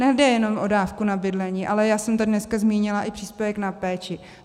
Nejde jenom o dávku na bydlení, ale já jsem tady dneska zmínila i příspěvek na péči.